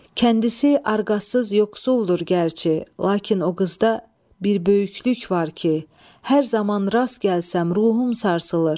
Kəndisi arqasız yoxsuldur gərçi, lakin o qızda bir böyüklük var ki, hər zaman rast gəlsəm, ruhum sarsılır.